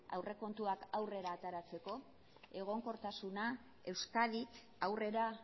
aurrekontuak aurrera ateratzeko egonkortasuna euskadi aurrera